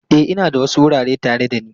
E, ina da wasu wurare tare da ni.